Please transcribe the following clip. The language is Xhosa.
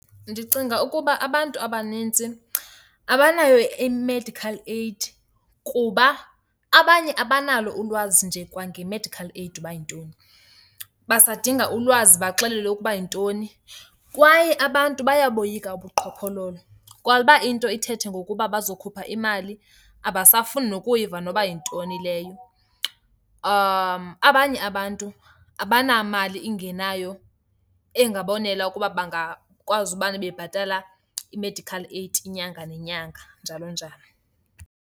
Ndicinga ukuba abantu abanintsi abanayo i-medical aid kuba abanye abanalo ulwazi nje kwange-medical aid uba yintoni. Basadinga ulwazi baxelelwe ukuba yintoni. Kwaye abantu bayaboyika ubuqhophololo. Kwa uba into ithethe ngokuba bazokhupha imali, abasafuni nokuyiva noba yintoni leyo. Abanye abantu abanamali ingenayo engabonela ukuba bangakwazi umane bebhatala i-medical aid inyanga nenyanga, njalo njalo.